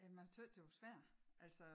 Jamen a tøs det var svær altså